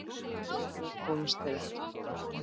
Lengra komust þeir ekki.